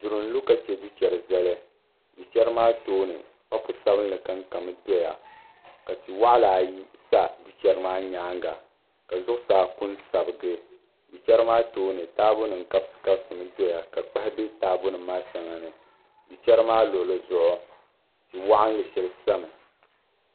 Duri n lu ka chɛ du chɛri zali du chɛri maa tooni papu sabinli kankami doya ka tia waɣala ayi sa du chɛri maa nyaanga ka zuɣusaa ku sabigi du chɛri maa tooni taabo nim n kabisi kabisi doya ka kpahi bɛ taabo nim maa shɛŋa ni du chɛri maa luɣuli zuɣu tia waɣanli shɛli sami